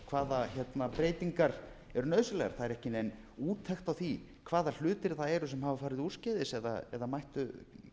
hvaða breytingar eru nauðsynlegar það er ekki nein úttekt á því hvaða hlutir það eru sem hafa farið úrskeiðis eða mættu